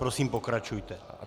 Prosím, pokračujte.